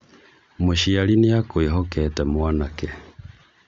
mũciari nĩakwĩhokete mwanake